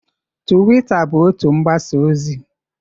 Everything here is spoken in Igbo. Tuwita bụ otu mgbasa ozi.